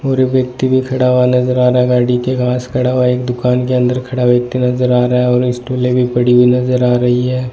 और व्यक्ति भीं खड़ा हुवा नजर आ रहा गाड़ी के पास खड़ा हुवा एक दुकान के अंदर खड़ा हुवा व्यक्ती नजर आ रहा है और ये स्टूलें भीं पड़ी हुई नजर आ रहीं हैं।